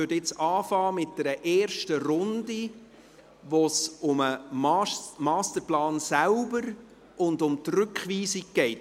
Wir beginnen nun mit einer ersten Runde, bei der es um den Masterplan selbst und um die Rückweisung geht.